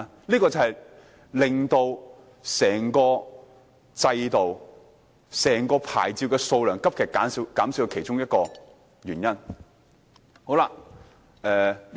這就是令到整個制度收縮、牌照數量急劇減少的其中一個原因。